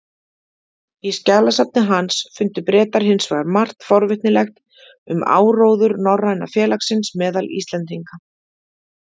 Í skjalasafni hans fundu Bretar hins vegar margt forvitnilegt um áróður Norræna félagsins meðal Íslendinga.